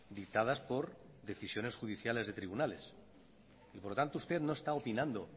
dictadas por decisiones judiciales de tribunales y por lo tanto usted no está opinando